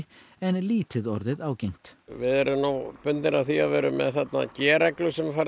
en lítið orðið ágengt við erum nú bundnir af því að vera með þarna g reglu sem er farið